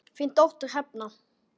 Þín dóttir, Hrefna.